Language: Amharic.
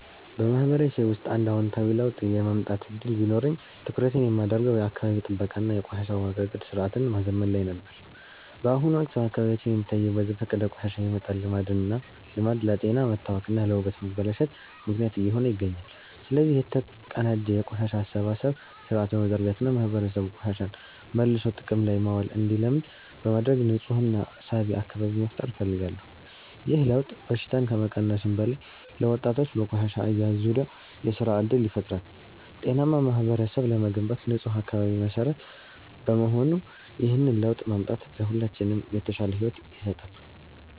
በማህበረሰቤ ውስጥ አንድ አዎንታዊ ለውጥ የማምጣት ዕድል ቢኖረኝ፣ ትኩረቴን የማደርገው የአካባቢ ጥበቃ እና የቆሻሻ አወጋገድ ሥርዓትን ማዘመን ላይ ነበር። በአሁኑ ወቅት በአካባቢያችን የሚታየው በዘፈቀደ ቆሻሻ የመጣል ልማድ ለጤና መታወክ እና ለውበት መበላሸት ምክንያት እየሆነ ይገኛል። ስለዚህ፣ የተቀናጀ የቆሻሻ አሰባሰብ ሥርዓት በመዘርጋት እና ማህበረሰቡ ቆሻሻን መልሶ ጥቅም ላይ ማዋል እንዲለምድ በማድረግ ንፁህና ሳቢ አካባቢ መፍጠር እፈልጋለሁ። ይህ ለውጥ በሽታን ከመቀነሱም በላይ፣ ለወጣቶች በቆሻሻ አያያዝ ዙሪያ የሥራ ዕድል ይፈጥራል። ጤናማ ማህበረሰብ ለመገንባት ንፁህ አካባቢ መሠረት በመሆኑ፣ ይህንን ለውጥ ማምጣት ለሁላችንም የተሻለ ሕይወት ይሰጣል።